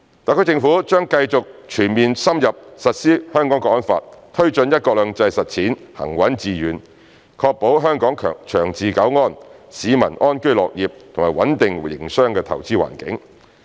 特區政府將繼續全面深入實施《香港國安法》，推進"一國兩制"實踐行穩致遠，確保香港長治久安、市民安居樂業和穩定營商投資環境。